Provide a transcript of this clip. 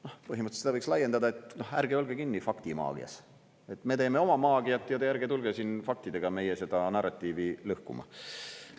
Noh, põhimõtteliselt seda võiks laiendada, et ärge olge kinni faktimaagias, et me teeme oma maagiat ja te ärge tulge siin faktidega meie seda narratiivi lõhkuma.